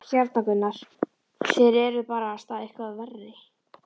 Hérna Gunnar, þér eruð barasta eitthvað verri!